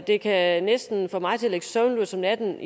det kan næsten få mig til at ligge søvnløs om natten